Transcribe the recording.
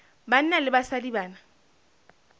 banna le basadi ba na